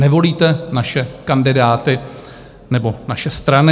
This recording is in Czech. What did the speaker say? Nevolíte naše kandidáty nebo naše strany?